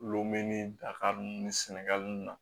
Lome ni daga ninnu ni sɛnɛgali nunnu na